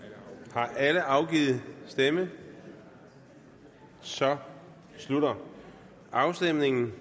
har alle afgivet stemme så slutter afstemningen